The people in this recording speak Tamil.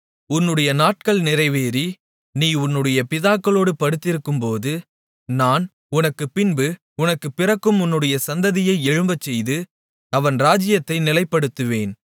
உன்னுடைய நாட்கள் நிறைவேறி நீ உன்னுடைய பிதாக்களோடு படுத்திருக்கும்போது நான் உனக்குப்பின்பு உனக்கு பிறக்கும் உன்னுடைய சந்ததியை எழும்பச்செய்து அவன் ராஜ்ஜியத்தை நிலைப்படுத்துவேன்